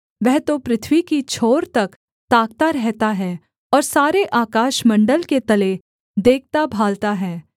वह तो पृथ्वी की छोर तक ताकता रहता है और सारे आकाशमण्डल के तले देखताभालता है